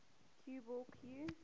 cue ball cue